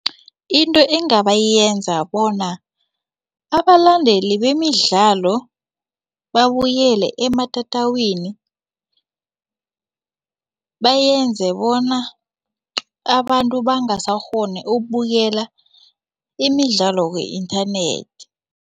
Into engabayenza bona abalandeli bemidlalo babuyele ematatawini bayenze bona abantu bangasakghoni ukubukela imidlalo ku-inthanethi.